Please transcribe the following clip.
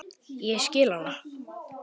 Ég skil hana.